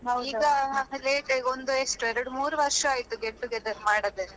ಈಗ ಎಷ್ಟು late ಆಗಿ ಈಗ ಎಷ್ಟು ಒಂದು ಎರಡ್ ಮೂರು ವರ್ಷ ಆಯ್ತು get together ಮಾಡದೆ.